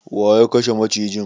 Waye ya kashe macijin?